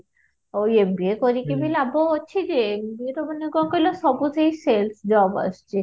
ଆଉ MBA କରିକି ଭି ଲାଭ ଅଛି ଯେ ୟେ ତ ମାନେ କଣ କହିଲା ସବୁଠି sales job ଆସୁଛି